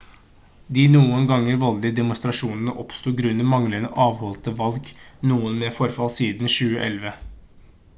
de noen ganger voldelige demonstrasjonene oppsto grunnet manglende avholdte valg noen med forfall siden 2011